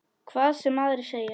Hvað sem aðrir segja.